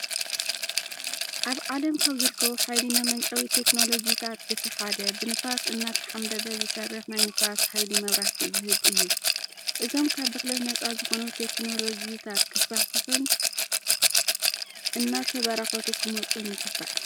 ኣብ ኣለም ካብ ዝርከቡ ሓይሊ መመንጨዊ ቴክኖሎጂታት እቲ ሓደ ብንፋስ እናተሓምበበ ዝሰርሕ ናይ ንፋስ ሃይሊ መብራሕቲ ዝህብ እዩ። እዞም ካብ ብክለት ነፃ ዝኾኑ ቴክኖሎጅታት ክስፋሕፍሑን እናተበራኸቱ ክመፁን ይግባእ።